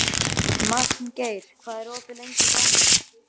Magngeir, hvað er opið lengi í Bónus?